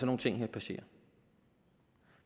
nogle ting her passere